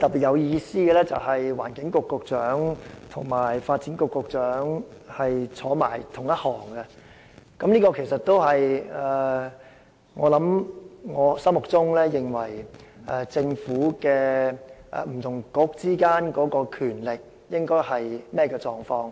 尤其有意思的是環境局局長和發展局局長並列而坐，這也符合我心中所認為，政府不同政策局之間應有的權力狀況。